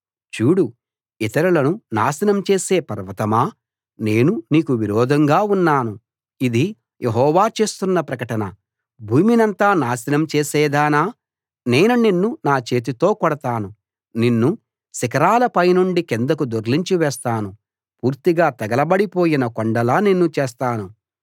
చూడు ఇతరులను నాశనం చేసే పర్వతమా నేను నీకు విరోధంగా ఉన్నాను ఇది యెహోవా చేస్తున్న ప్రకటన భూమినంతా నాశనం చేసేదానా నేను నిన్ను నా చేతితో కొడతాను నిన్ను శిఖరాల పైనుండి కిందకు దొర్లించి వేస్తాను పూర్తిగా తగలబడి పోయిన కొండలా నిన్ను చేస్తాను